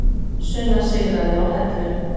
Sunna sigraði á Hellu